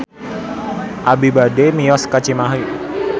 Abi bade mios ka Cimahi